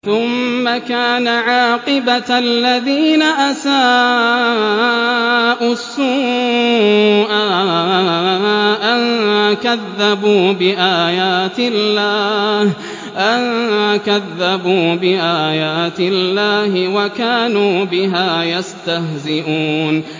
ثُمَّ كَانَ عَاقِبَةَ الَّذِينَ أَسَاءُوا السُّوأَىٰ أَن كَذَّبُوا بِآيَاتِ اللَّهِ وَكَانُوا بِهَا يَسْتَهْزِئُونَ